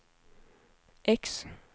X